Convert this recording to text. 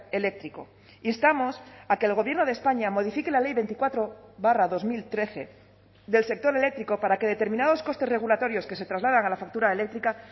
eléctrico instamos a que el gobierno de españa modifique la ley veinticuatro barra dos mil trece del sector eléctrico para que determinados costes regulatorios que se trasladan a la factura eléctrica